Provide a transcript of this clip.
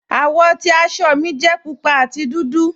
Awọ́ ti àṣọ́ mi jẹ̀ púpà àti dúdú.